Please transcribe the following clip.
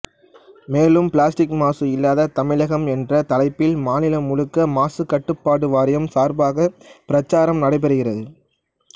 மேலும் பிளாஸ்டிக் மாசு இல்லா தமிழகம் என்ற தலைப்பில் மாநிலம் முழுக்க மாசுக் கட்டுப்பாடு வாரியம் சார்பாகப் பிரச்சாரம் நடைபெறுகிறது